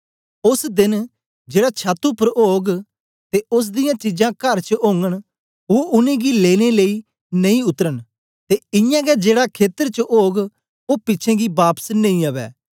ओस देन जेड़ा छत उपर ओग ते ओस दियां चीजां कर च ओगन ओ उनेंगी लेने लेई नेई उतरन ते इयां गै जेड़ा खेतर च ओग ओ पिछें गी बापस नेई अवै